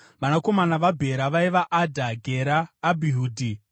Vanakomana vaBhera vaiva: Adha, Gera, Abhihudhi,